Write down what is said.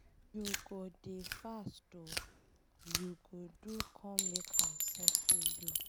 You go dey fast o, you go do come make I settle you.